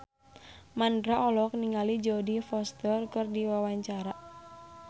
Mandra olohok ningali Jodie Foster keur diwawancara